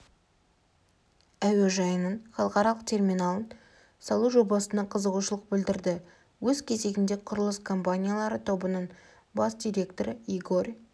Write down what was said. әуежайының халықаралық терминалын салу жобасына қызығушылық білдірді өз кезегінде құрылыс компаниялары тобының бас директоры игорь